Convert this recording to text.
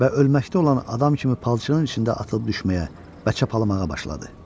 Və ölməkdə olan adam kimi palçanın içində atılıb düşməyə və çabalamağa başladı.